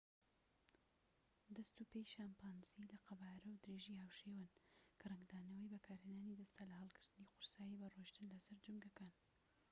دەست و پێی شەمپانزی لە قەبارە و درێژی هاوشێوەن کە ڕەنگدانەوەی بەکارهێنانی دەستە لە هەڵگرتنی قورسایی بە ڕۆیشتن لە سەر جومگەکان